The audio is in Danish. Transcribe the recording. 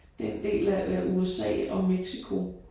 Den del af USA og Mexico